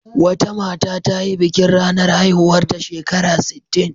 Wata mata ta yi bikin ranar haihuwarta shekara sittin.